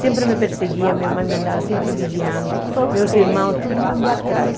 Sempre me perseguia, minha mãe me andava sempre vigiando, meus irmãos, todo mundo atrás.